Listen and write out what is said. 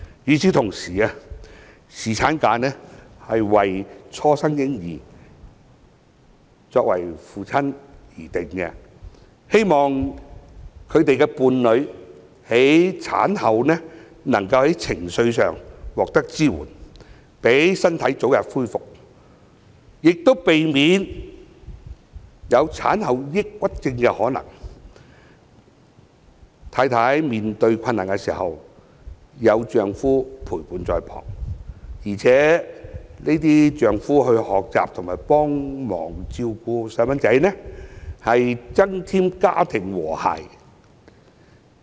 與此同時，侍產假是為初生嬰兒的父親而制訂的，希望他們的伴侶在產後能夠在情緒上獲得支援，讓身體早日恢復，亦避免有產後抑鬱症的可能，妻子面對困難時有丈夫陪伴在旁，而且丈夫可以學習和幫忙照顧嬰兒，是能增添家庭和諧。